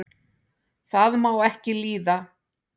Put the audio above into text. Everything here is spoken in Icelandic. það má ekki líða